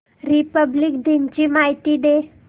Republic दिन ची माहिती दे